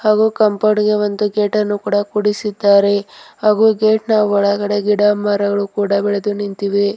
ಹಾಗು ಕಾಂಪೌಂಡ್ ಗೆ ಒಂದು ಗೇಟನ್ನು ಕೂಡ ಕೂಡಿಸಿದ್ದಾರೆ ಹಾಗು ಗೇಟ್ ನ ಒಳಗಡೆ ಗಿಡಮರಗಳು ಕೂಡ ಬೆಳೆದು ನಿಂತಿವೆ.